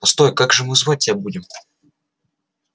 постой как же мы звать тебя будем